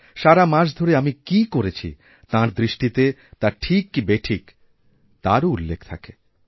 সারা মাস ধরে আমি কী করেছি তাঁর দৃষ্টিতে তা ঠিক কি বেঠিক তারও উল্লেখথাকে